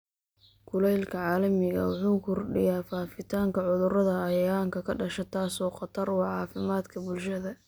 Kulaylka caalamiga ah wuxuu kordhiyaa faafitaanka cudurrada cayayaanka ka dhasha, taasoo khatar ku ah caafimaadka bulshada.